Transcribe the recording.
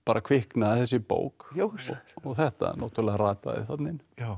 kviknaði þessi bók og þetta rataði þarna inn